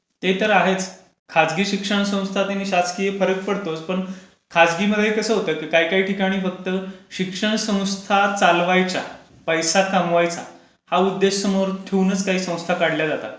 ते तर आहेच. खासगी शिक्षण संस्था आणि शासकीय मध्ये फरक पडतोच. खासगीमध्ये कसं काही काही ठिकाणी फक्त शिक्षनसंस्था चालवायच्या, पैसा कमवायचा, हा उद्देश समोर ठेवूनच काही संस्था काढल्या जातात.